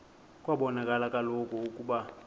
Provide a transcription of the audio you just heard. kwabonakala kaloku ukuba